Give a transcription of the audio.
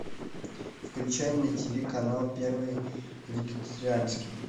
включай на тиви канал первый вегетарианский